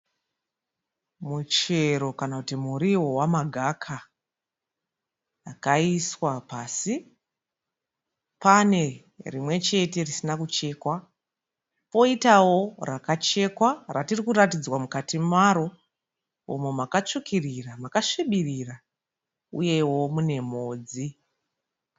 Muchero kana kuti muriwo wemagaka wakaiswa pasi, pane rimwechete risina kuchekwa koitawo rakachekwa ratirikuratidzwa mukati maro umo makatsvukirira makasvibirira uyewo mune mhodzi.